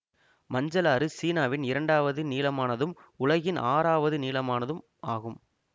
மஞ்சள் ஆறு சீனாவின் இரண்டாவது நீளமானதும் உலகின் ஆறாவது நீளமானதும் ஆகும்